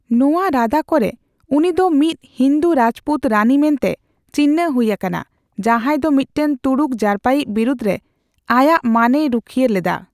ᱱᱚᱣᱟ ᱨᱟᱫᱟ ᱠᱚᱨᱮ, ᱩᱱᱤ ᱫᱚ ᱢᱤᱫ ᱦᱤᱱᱫᱩ ᱨᱟᱡᱽᱯᱩᱛ ᱨᱟᱹᱱᱤ ᱢᱮᱱᱛᱮ ᱪᱤᱱᱦᱟᱹ ᱦᱩᱭ ᱟᱠᱟᱱᱟ, ᱡᱟᱦᱟᱸᱭ ᱫᱚ ᱢᱤᱫᱴᱟᱝ ᱛᱩᱲᱩᱠ ᱡᱟᱨᱯᱟᱭᱤᱡ ᱵᱤᱨᱩᱫᱷ ᱨᱮ ᱟᱭᱟᱜ ᱢᱟᱹᱱᱮ ᱨᱩᱠᱷᱤᱭᱟᱹ ᱞᱮᱫᱟ ᱾